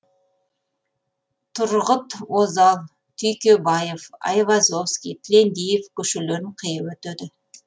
тұрғыт озал түйкебаев айвазовский тілендиев көшелерін қиып өтеді